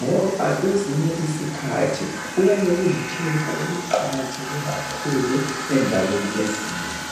ngoba kwezinye isikhathi kuyabe kulikhefu eliqakatheke kakhuu endaweni ezinengi